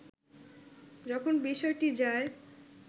যখন বিষয়টি যায়